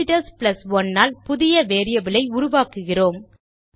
visitors 1 ஆல் புதிய variable ஐ உருவாக்குகிறோம்